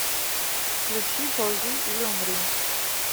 включи ползи или умри